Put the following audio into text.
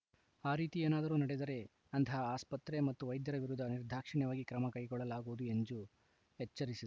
ಆ ರೀತಿ ಏನಾದರೂ ನಡೆದರೆ ಅಂತಹ ಆಸ್ಪತ್ರೆ ಮತ್ತು ವೈದ್ಯರ ವಿರುದ್ಧ ನಿರ್ದಾಕ್ಷಿಣ್ಯವಾಗಿ ಕ್ರಮ ಕೈಗೊಳ್ಳಲಾಗುವುದು ಎಂದು ಎಚ್ಚರಿಸಿದರು